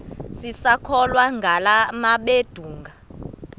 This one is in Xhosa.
sisakholwa ngala mabedengu